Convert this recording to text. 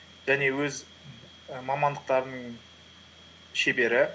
және өз і мамандықтарының шебері